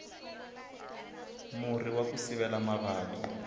murhi waku sivela mavabyi